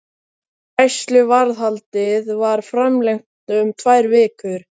Gæsluvarðhaldið var framlengt um tvær vikur.